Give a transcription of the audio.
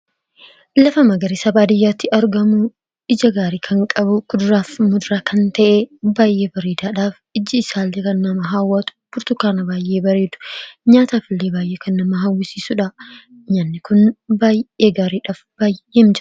Lafa magarisa baadiyyaatti argamuu ija gaarii kan qabu kuduraaf muduraa kan ta'ee baay'ee bareedaadhaaf ijji isaallee kan nama haawwat burtukaana baay'ee bareedu nyaatafillee baay'ee kan nama hawwasiisuudha. Nyaanni kun baay'ee gaariidha.